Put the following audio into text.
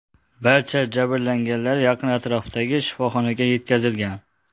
Barcha jabrlanganlar yaqin atrofdagi shifoxonaga yetkazilgan.